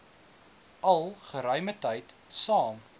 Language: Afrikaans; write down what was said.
al geruimetyd saam